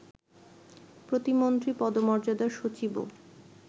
প্রতিমন্ত্রী পদমর্যাদার সচিবও